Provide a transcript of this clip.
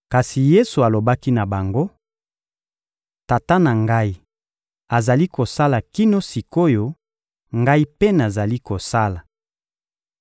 Kasi Yesu alobaki na bango: «Tata na Ngai azali kosala kino sik’oyo, Ngai mpe nazali kosala.»